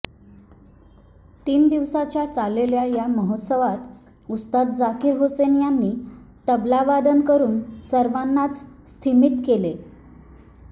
तीन दिवस चाललेल्या या महोत्सवात उस्ताद झाकीर हुसेन यांनी तबलावादन करून सर्वांनाच स्तीमित केले